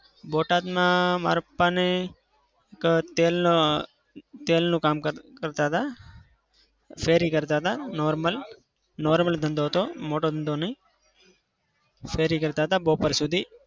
બોટાદમાં મારા પપ્પાને એક તેલનો તેલનું કામ કરતા હતા. ફેરી કરતા હતા. normal normal ધંધો હતો. મોટા ધંધો નઈ. ફેરી કરતા હતા બપોર સુધી.